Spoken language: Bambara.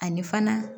Ani fana